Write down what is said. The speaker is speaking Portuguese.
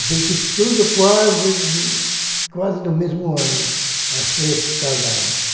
Assim que tudo quase quase no mesmo ano, as três se casaram.